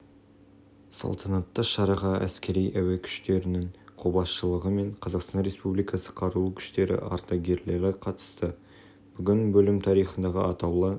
салтанатты шараға әскери-әуе күштерінің қолбасшылығы мен қазақстан республикасы қарулы күштері ардагерлері қатысты бүгін бөлім тарихындағы атаулы